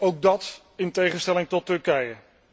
Ook dat in tegenstelling tot Turkije.